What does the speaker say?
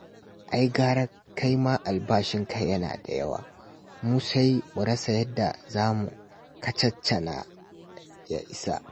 Ai gara kai ma albashinka yana da yawa. Mu sai mu rasa yadda za mu kacaccana ya isa